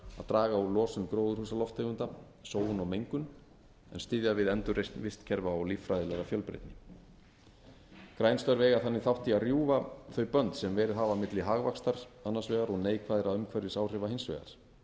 draga úr losun gróðurhúsalofttegunda sóun og mengun en styðja við endurreisn vistkerfa og líffræðilega fjölbreytni græn störf eiga þannig þátt í að rjúfa þau bönd sem verið hafa milli hagvaxtar annars vegar og neikvæðra umhverfisáhrifa hins vegar